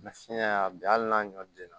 fiɲɛ y'a bi hali n'a ɲɔ den na